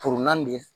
de